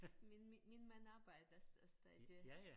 Min min mand arbejder stadig